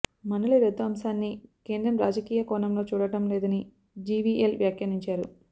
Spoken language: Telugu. మండలి రద్దు అంశాన్ని కేంద్రం రాజకీయ కోణంలో చూడటం లేదని జీవీఎల్ వ్యాఖ్యానించారు